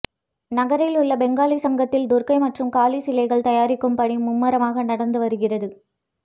நகரில் உள்ள பெங்காலி சங்கத்தில் துர்கை மற்றும் காளி சிலைகள் தயாரிக்கும் பணி மும்முரமாக நடந்து வருகிறது